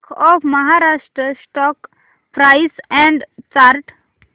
bank of Maharashtra stock price and chart